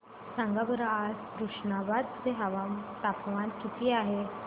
सांगा बरं आज तुष्णाबाद चे तापमान किती आहे